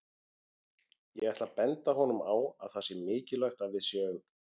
Ég ætla að benda honum á að það sé mikilvægt að við séum